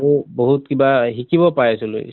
আৰু বহুত কিবা শিকিব পাই আছিলোঁ